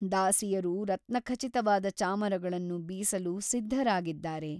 ದಾಸಿಯರು ರತ್ನಖಚಿತವಾದ ಚಾಮರಗಳನ್ನು ಬೀಸಲು ಸಿದ್ಧರಾಗಿದ್ದಾರೆ.